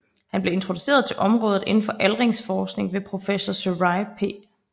Han blev introduceret til området inden for aldringsforskning ved professor Suraj P